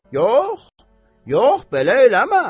Yox, yox, belə eləmə.